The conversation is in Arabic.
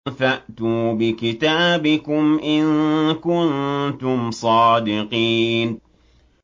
فَأْتُوا بِكِتَابِكُمْ إِن كُنتُمْ صَادِقِينَ